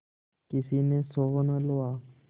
किसी ने सोहन हलवा